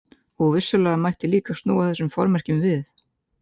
Og vissulega mætti líka snúa þessum formerkjum við.